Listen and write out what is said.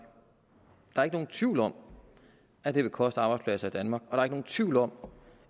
der er ikke nogen tvivl om at det vil koste arbejdspladser i danmark og er nogen tvivl om